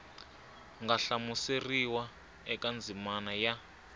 nga hlamuseriwa eka ndzimana ya